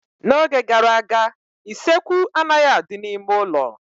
N'oge gara aga, isekwu anaghị adị n'ime ụlọ